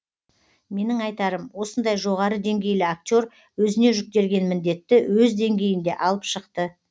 менің айтарым осындай жоғары деңгейлі актер өзіне жүктелген міндетті өз деңгейінде алып шықты